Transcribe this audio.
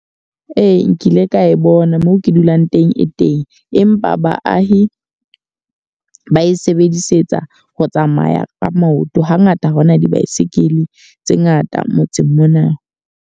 Ee, nkile ka e bona. Moo ke dulang teng e teng. Empa baahi ba e sebedisetsa ho tsamaya ka maoto. Ha ngata ha hona di-bycycle tse ngata motseng mona.